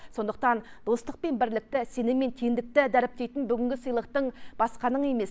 сондықтан достық пен бірлікті сенім мен теңдікті дәріптейтін бүгінгі сыйлықтың басқаның емес